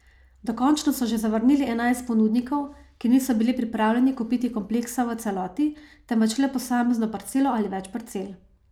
Dokončno so že zavrnili enajst ponudnikov, ki niso bili pripravljeni kupiti kompleksa v celoti, temveč le posamezno parcelo ali več parcel.